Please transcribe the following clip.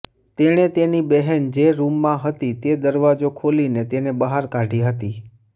તેણે તેની બહેન જે રૂમમાં હતી તે દરવાજો ખોલીને તેને બહાર કાઢી હતી